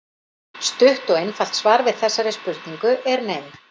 Stutt og einfalt svar við þessari spurningu er nei.